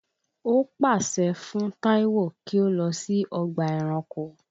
Ó pààsẹ fún Taiwo kí ó lọ sí ọgbà ẹranko